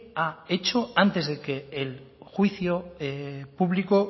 ha hecho antes de que el juicio público